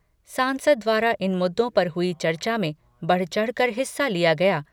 सांसद द्वारा इन मुद्दों पर हुई चर्चा में बढ़ चढ़कर हिस्सा लिया गया